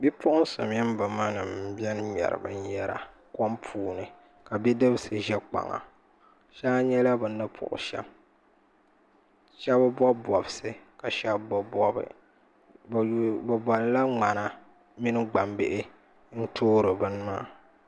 Bipuɣunsi mini bi ma nim n biɛni ŋmɛri binyɛra kom puuni ka bidibsi ʒɛ kpaŋa shee a nyɛla bini puɣu shɛm shab bobi bobsi ka shab bi bobi bi bola ŋmana mini gbambihi n toori bini maa